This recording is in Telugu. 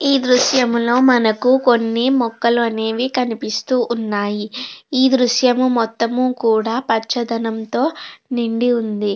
ఈ దృశ్యంలో మనకు కొన్ని మొక్కలు అనేవి కనిపిస్తూ ఉన్నాయి. ఈ దృశ్యం మొత్తం కూడా పచ్చదనంతో నిండి ఉంది.